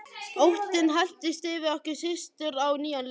Óttinn helltist yfir okkur systur á nýjan leik.